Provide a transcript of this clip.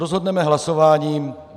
Rozhodneme hlasováním.